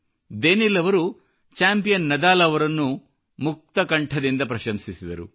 Daniil ಅವರು champion Nadal ಅವರನ್ನು ಕೂಡಾ ಮುಕ್ತ ಕಂಠದಿಂದ ಪ್ರಶಂಸಿಸಿದರು